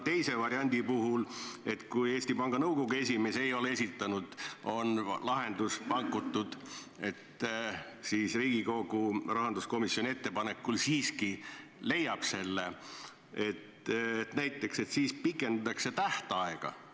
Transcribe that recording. Teise variandi puhul, kui Eesti Panga Nõukogu esimees ei ole esitanud, on pakutud lahendus, et siis Riigikogu rahanduskomisjoni ettepanekul siiski leiab need, näiteks siis pikendatakse tähtaega.